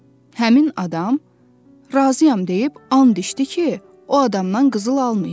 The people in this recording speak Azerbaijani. Həmin adam razıyam deyib and içdi ki, o adamdan qızıl almayıb.